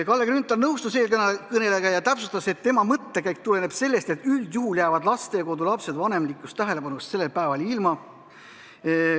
Kalle Grünthal nõustus eelkõnelejaga ja täpsustas, et tema mõttekäik tuleneb sellest, et üldjuhul jäävad lastekodulapsed vanemlikust tähelepanust sellel päeval ilma.